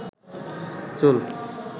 চুল